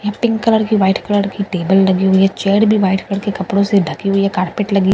यहाँ pink colour की white colour की टेबल डली हुई है चेयर भी वाइट कलर की कपड़ों से ढकी हुई है कारपेट लगी --